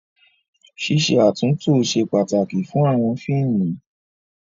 Ṣíṣe àtúntó ṣe pàtàkì fún àwọn fíìmù.